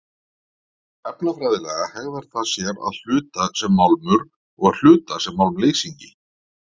Efnafræðilega hegðar það sér að hluta sem málmur og að hluta sem málmleysingi.